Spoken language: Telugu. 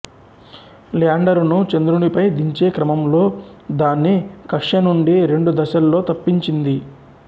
ల్యాండరును చంద్రునిపై దించే క్రమంలో దాన్ని కక్ష్య నుండి రెండు దశల్లో తప్పించింది